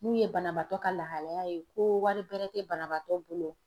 N'u ye banabaatɔ ka lahalaya ye ko wari bɛrɛ tɛ banabaatɔ bolo